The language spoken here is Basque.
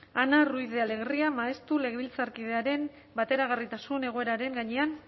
ana ruiz de alegria maestu legebiltzarkidearen bateragarritasun egoeraren gainean